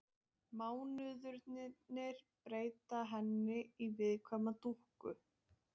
Mánuðirnir breyta henni í viðkvæma dúkku.